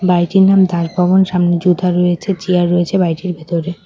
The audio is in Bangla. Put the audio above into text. বাড়িটির নাম দাস ভবন। সামনে জুতা রয়েছে চেয়ার রয়েছে বাড়িটির ভেতরে ।